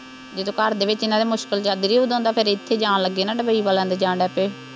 ਜਦੋਂ ਘਰ ਦੇ ਵਿੱਚ ਇਹਨਾ ਦੇ ਮੁਸ਼ਕਿਲ ਚੱਲ ਰਹੀ, ਉਦੋਂ ਦਾ ਫੇਰ ਇੱਥੇ ਜਾਣ ਲੱਗ ਨਾ, ਡੁਬਈ ਵਾਲਿਆਂ ਦੇ ਜਾਣ ਲੱਗ ਪਏ।